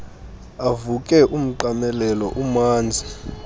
avuke umqamelelo umanzi